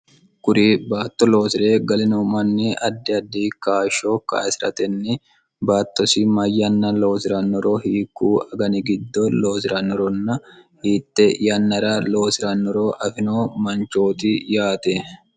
kuri baatto loosi're galinoo manni addi addi kaashsho kaisi'ratenni baattosi mayyanna loosirannoro hiikku agani giddo loosi'rannoronna hiitte yannara loosi'rannoro afino manchooti yaate